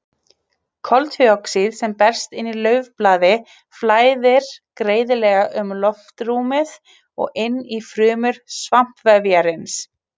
Koltvíoxíð sem berst inn í laufblaði flæðir greiðlega um loftrúmið og inn í frumur svampvefjarins.